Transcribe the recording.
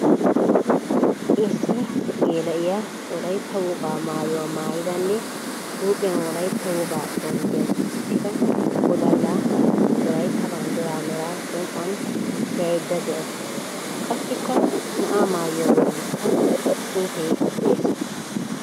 Issi geela'iya Wolaytta wogaa maayuwa maayddanne huuphiyan wolaytta wogaa bawunddiyan qachchida wodallaa, wolaytta banddira meraa som''uwan tiyaydda de'awusu. Qassikka naa''aa maayuwa bollikka xuufee de'ees.